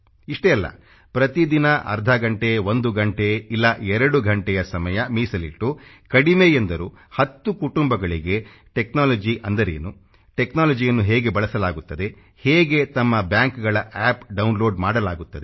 ಇಷ್ಟೇ ಅಲ್ಲ ಪ್ರತಿದಿನ ಅರ್ಧ ಗಂಟೆ ಒಂದು ಗಂಟೆ ಇಲ್ಲ ಎರಡು ಗಂಟೆ ಸಮಯ ಮೀಸಲಿಟ್ಟು ಕಡಿಮೆ ಎಂದರೂ 10 ಕುಟುಂಬಗಳಿಗೆ ಟೆಕ್ನಾಲಜಿ ಅಂದರೇನು ಟೆಕ್ನಾಲಜಿ ಯನ್ನು ಹೇಗೆ ಬಳಸಲಾಗುತ್ತದೆ ಹೇಗೆ ತಮ್ಮ ಬ್ಯಾಂಕ್ಗಳ ಅಪ್ ಡೌನ್ಲೋಡ್ ಮಾಡಲಾಗುತ್ತದೆ